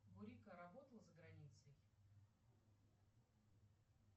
бурико работал за границей